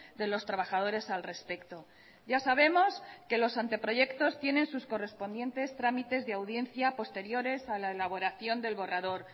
de los trabajadores al respecto ya sabemos que los anteproyectos tienen sus correspondientes trámites de audiencia posteriores a la elaboración del borrador